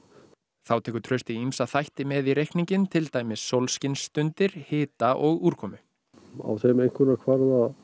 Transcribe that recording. þá tekur Trausti ýmsa þætti með í reikninginn til dæmis hita og úrkomu á þeim einkunna kvarða